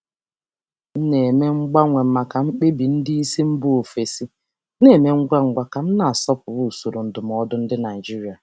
Ana m emegharị na ime mkpebi ngwa ngwa nke ndị oga si mba ọzọ ka m na-akwanyere usoro ndụmọdụ usoro ndụmọdụ Naịjirịa ùgwù.